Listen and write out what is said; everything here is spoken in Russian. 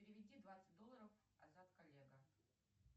переведи двадцать долларов азат коллега